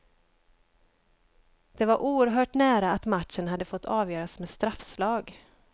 Det var oerhört nära att matchen hade fått avgöras med straffslag.